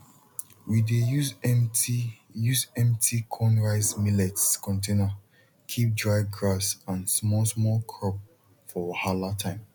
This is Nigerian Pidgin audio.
we dey use empty use empty cornrice millets container keep dry grass and small small crop for wahala time